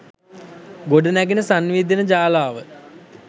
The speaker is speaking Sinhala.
ගොඩනැඟෙන සන්නිවේදන ජාලාව